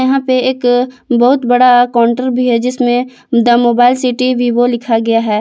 यहां पे एक बहुत बड़ा काउंटर भी है जिसमें द मोबाइल सिटी विवो लिखा गया है।